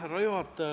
Härra juhataja!